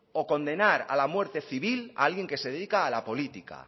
o condenar a la muerte civil a alguien que se dedica a la política